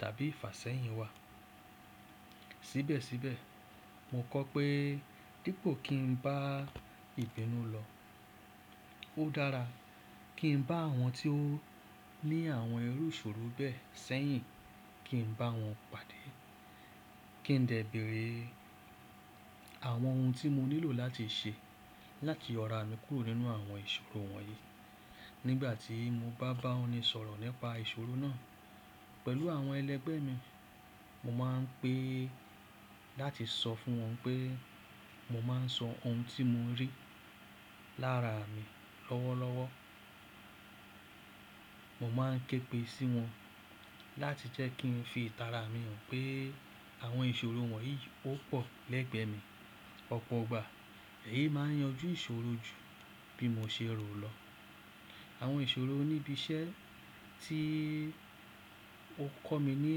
tàbí ìfàsẹ́yìn wà. Síbẹ̀síbẹ̀, mo kọ́ pé dípò kí n bá ìbínú lọ, ó dára kí n bá àwọn tí ó ní àwọn irú ìṣòro bẹ́ẹ̀ sẹ́yìn kí n bá wọn pàdé, kí ń dẹ̀ béèrè àwọn ohun tí mo nílò láti ṣe láti yọ̀rà mi kúrò nínú àwọn ìṣòro wọ̀nyí. Nígbà tí mo bá bá oni sọ̀rọ̀ nípa ìṣòro náà pẹ̀lú àwọn ẹlẹgbẹ́ mi, mo máa ń pè láti sọ fún wọn wipé mo máa ń sọ ohun tí mò rí lára mi lọ́wọ́lọ́wọ́. Mo máa ń képe sí wọn láti jẹ́ kí n fi ìtara mi hàn pé àwọn ìṣòro wọ̀nyí ó pọ̀ lẹ́gbẹ̀ẹ́ mi. Ọ̀pọ̀ ìgbà èyí máa ń yanjú ìṣòro ju bí mo ṣe rò lọ. Àwọn ìṣòro ní ibi iṣẹ́ tí ó kọ́ mi ní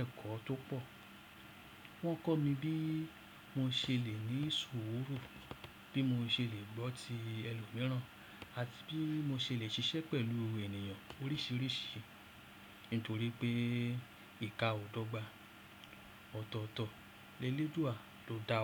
ẹ̀kọ́ tó pọ̀. Wọ́n kọ́ mi bí mo ṣe lè ní ìṣòro, bí mo ṣe lè gbọ́ ti ẹlòmíràn àti bí mo ṣe lè ṣiṣẹ́ pẹ̀lú ènìyàn oríṣìíríṣìí nítorí pé ìka ò dọ́gba, ọ̀tọ̀ọ̀tọ̀, leléduà ló dáwa.